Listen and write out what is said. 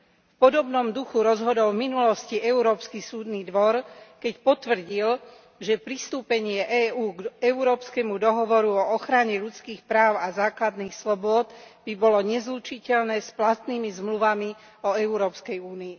V podobnom duchu rozhodol v minulosti Európsky súdny dvor, keď potvrdil, že pristúpenie EÚ k Európskemu dohovoru o ochrane ľudských práv a základných slobôd by bolo nezlučiteľné s platnými zmluvami o Európskej únii.